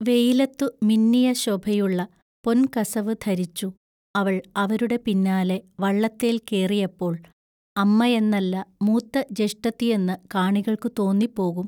വെയിലത്തു മിന്നിയ ശൊഭയുള്ള പൊൻകസവു ധരിച്ചു അവൾ അവരുടെ പിന്നാലെ വള്ളത്തേൽ കേറിയപ്പോൾ അമ്മയെന്നല്ല മൂത്ത ജെഷ്ഠത്തിയെന്നു കാണികൾക്കു തോന്നിപോകും.